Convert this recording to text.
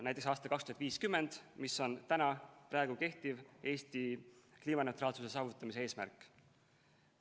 Näiteks, aasta 2050, mis on kehtiv Eesti kliimaneutraalsuse saavutamise eesmärk.